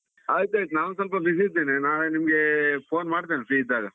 ಆಯ್ತ್ ಆಯ್ತ್ ನಾವ್ ಸ್ವಲ್ಪ busy ಇದ್ದೇನೆ, ನಾಳೆ ನಿಮ್ಗೆ phone ಮಾಡತೇನೆ free ಇದ್ದಾಗ.